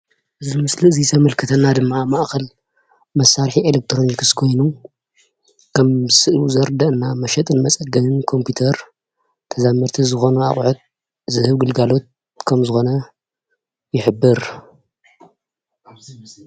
እዚ ኣብዚ ምስሊ ዘመልክተና ድማ መእከል መሳርሒ ኤሌክትሮኒክስ ኮይኑ ከም ስእሉ ዘርደአና መሸጥን መፀገንን ኮምፒተር ተዛምድቲ ዝኾነ ኣቑሑት ዝህብ ግልጋሎት ከም ዝኾነ ይሕብር።